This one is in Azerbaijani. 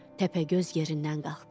Təpəgöz yerindən qalxdı.